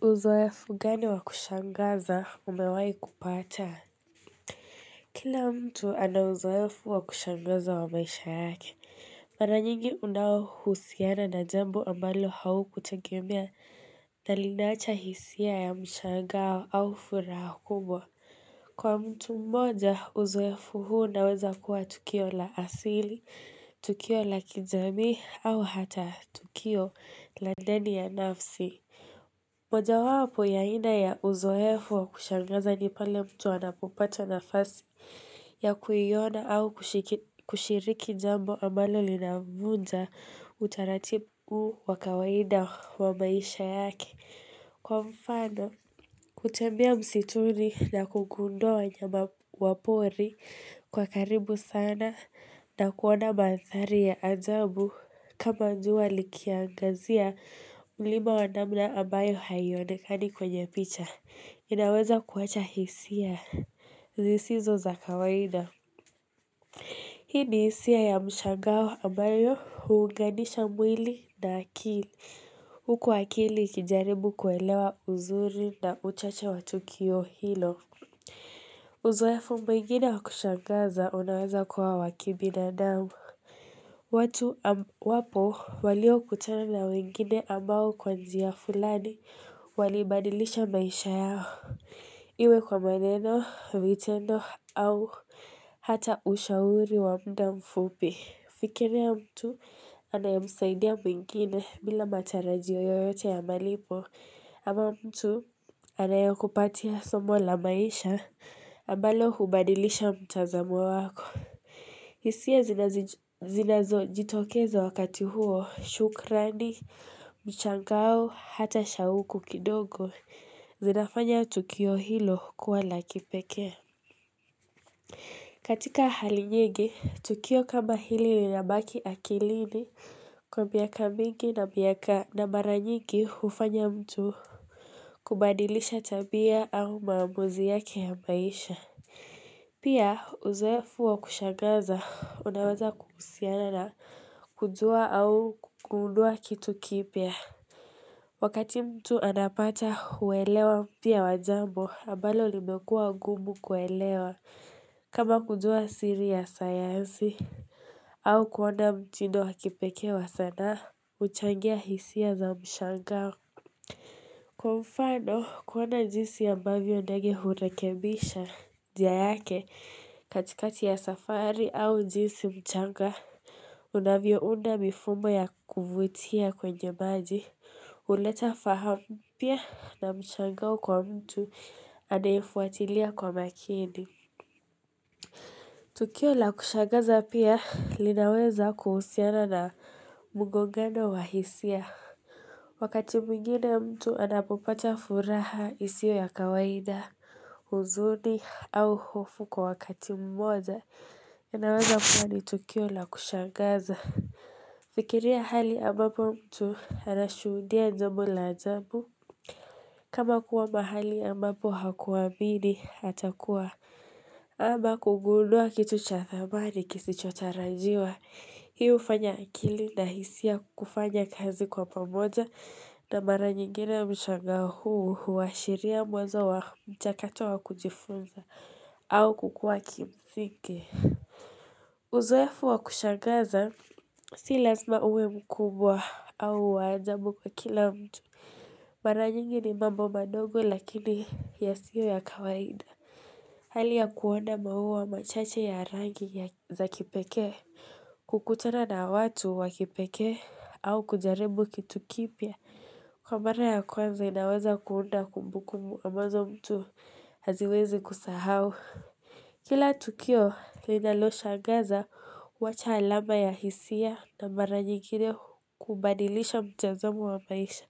Uzoefu gani wa kushangaza umewai kupata Kila mtu ana uzoefu wa kushangaza wa maisha yake Mara nyingi unao husiana na jambo ambalo haukutengemia na linaacha hisia ya mshagao au furaha kubwa Kwa mtu mmoja uzoefu huu unaweza kuwa tukio la asili, tukio la kijamii, au hata tukio la ndani ya nafsi moja wapo ya aina ya Uzoefu wa kushangaza ni pale mtu anapopata nafasi ya kuyiona au kushiriki jambo ambalo linamvunja utaratibu wa kawaida wa maisha yake. Kwa mfano, kutembea msituni na kugundua wanyama wapori kwa karibu sana na kuona mandhari ya ajabu kama jua likiangazia mlima wa namna ambayo hayionekani kwenye picha. Inaweza kuwacha hisia zisizo za kawaida. Hii ni hisia ya mshangao ambayo huunganisha mwili na akili huku wakili ikijaribu kuelewa uzuri na uchache wa tukio hilo. Uzoefu mwingine wa kushangaza unaweza kuwa wa kibinadamu. Watu wapo walio kutana na wengine ambao kwa njia fulani walibadilisha maisha yao. Iwe kwa maneno, vitendo au hata ushauri wa muda mfupi. Fikiria mtu anayemsaidia mwingine bila matarajio yoyote ya malipo ama mtu anayekupatia somo la maisha ambalo hubadilisha mtazamo wako. Hisia zinazo jitokezo wakati huo, shukrani, mshangao, hata shauku kidogo, zinafanya Tukio hilo kuwa la kipeke. Katika hali nyingi, Tukio kama hili linabaki akilini, kwa miaka mingi na miaka na maranyingi ufanya mtu. Kubadilisha tabia au maamuzi yake ya maisha. Pia, uzoefu wa kushangaza, unaweza kuhusiana na kujua au kugundua kitu kipya. Wakati mtu anapata uwelewa mpya wa jambo, ambalo limekua ugumu kuelewa kama kujua siri ya sayazi. Au kuona mtindo wa kipeke wa sanaa, uchangia hisia za mshangao. Kwa mfano kuona jisi ambavyo ndage hurekebisha jia yake katikati ya safari au jisi mchanga, unavyo unda mifumo ya kuvutia kwenye maji, uleta fahamu pia na mshangao kwa mtu anayeifuatilia kwa makini. Tukio la kushagaza pia linaweza kuhusiana na mugongano wa hisia. Wakati mwingine mtu anapopata furaha isio ya kawaida, huzuni au hofu kwa wakati mmoja, inaweza kuwa ni tukio la kushagaza. Fikiria hali ambapo mtu anashuhudia jambo la ajabu. Kama kuwa mahali ambapo hakuwamini hatakuwa ama kugundua kitu cha thamani kisichotarajiwa Hi hufanya akili na hisia kufanya kazi kwa pamoja na mara nyingine mshangao huu huashiria mwenzo wa mchakato wa kujifunza au kukuwa kimsingi Uzoefu wa kushangaza si lazima uwe mkubwa au wa ajabu kwa kila mtu Mara nyingi ni mambo madogo lakini yasiyo ya kawaida Hali ya kuona mauwa machache ya rangi ya za kipeke kukutana na watu wa kipeke au kujaribu kitukipia Kwa mara ya kwanza inaweza kuunda kumbukumbu ambazo mtu haziwezi kusahau Kila tukio linaloshangaza wacha alama ya hisia na mara nyingine kubadilisha mtezomo wa maisha